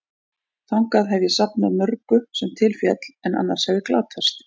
Þangað hef ég safnað mörgu, sem til féll, en annars hefði glatast.